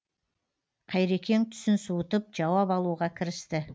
қайрекең түсін суытып жауап алуға кірісті